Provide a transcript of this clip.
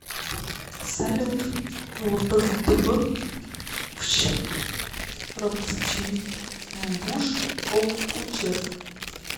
салют лпздб фщ рпсчймбуш об учеф